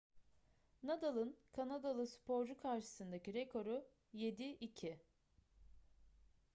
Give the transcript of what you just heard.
nadal'ın kanadalı sporcu karşısındaki rekoru 7-2